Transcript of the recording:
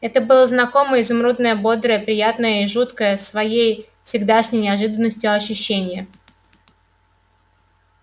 это было знакомое изумрудное бодрое приятное и жуткое своей всегдашней неожиданностью ощущение